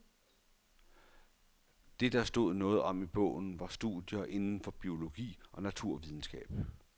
Det der stod noget om i bogen, var studier inden for biologi og naturvidenskab.